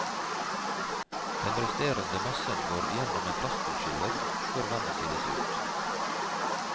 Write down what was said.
Den resterende massen går igjennom en plastutskiller før vannet siles ut.